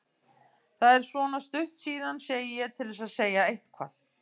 Það er svona stutt síðan, segi ég til að segja eitthvað.